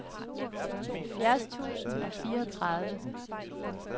halvfjerds tusind og fireogtredive